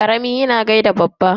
Karami yana gaida babba.